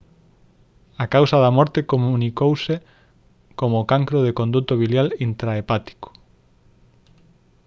a causa da morte comunicouse como cancro do conduto biliar intrahepático